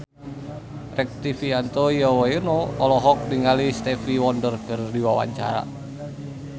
Rektivianto Yoewono olohok ningali Stevie Wonder keur diwawancara